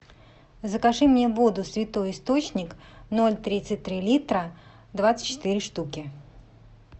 закажи мне воду святой источник ноль тридцать три литра двадцать четыре штуки